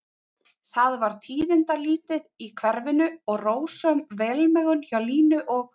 Það var tíðindalítið í hverfinu og rósöm velmegun hjá Línu og